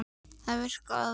Þetta virkaði og við lifðum.